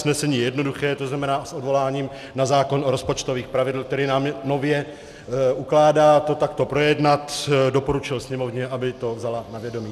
Usnesení je jednoduché, to znamená s odvoláním na zákon o rozpočtových pravidlech, který nám nově ukládá to takto projednat, doporučil Sněmovně, aby to vzala na vědomí.